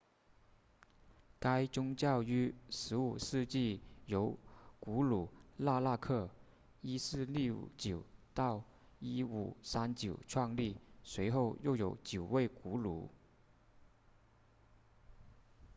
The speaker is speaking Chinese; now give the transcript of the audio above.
该宗教于15世纪由古鲁纳纳克 1469-1539 创立随后又有九位古鲁